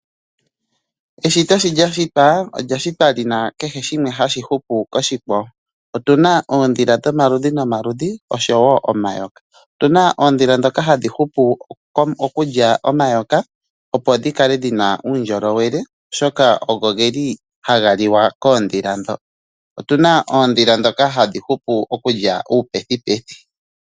Eshito sho lyashitwa olyashitwa lina kehe shimwe hashi hupu koshikwa wo. Otuna oondhila dhomaludhi nomaludhi oshowo omayoka. Otuna oondhila dhoka hadhi hupu okulya omayoka opo dhikale dhina uundjolowele oshoka oho geli haga liwa koondhila ndho. Otuna oondhila ndhoka hadhi hupu okulya uupethupethu.